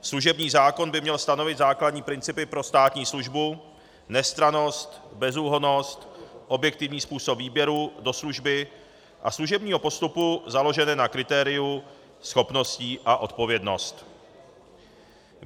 Služební zákon by měl stanovit základní principy pro státní službu - nestrannost, bezúhonnost, objektivní způsob výběru do služby a služebního postupu - založené na kritériu schopnosti a odpovědnosti.